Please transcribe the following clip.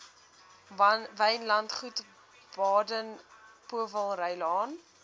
wynlandgoed baden powellrylaan